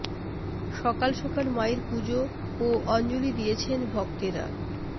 সকাল সকাল মায়ের পুজো ও অঞ্জলি দিয়েছেন ভক্তেরা